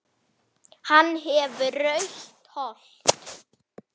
Björgun vinnur verkið.